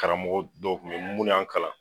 Karamɔgɔ dɔw kun be yen munnu y'an kalan